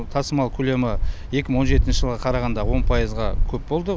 тасымал көлемі екі мың он жетінші жылға қарағанда он пайызға көп болды